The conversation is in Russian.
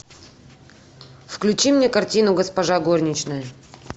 включи мне картину госпожа горничная